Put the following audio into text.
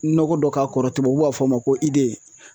Nɔgɔ dɔ k'a kɔrɔ tubabuw b'a fɔ a ma ko